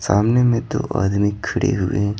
सामने में दो आदमी खड़े हुए ।